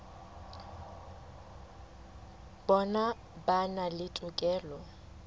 bona ba na le tokelo